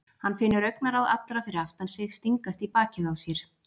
Hann finnur augnaráð allra fyrir aftan sig stingast í bakið á sér.